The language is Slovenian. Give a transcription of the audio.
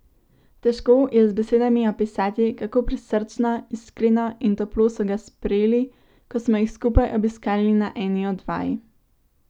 Težko je z besedami opisati, kako prisrčno, iskreno in toplo so ga sprejeli, ko smo jih skupaj obiskali na eni od vaj.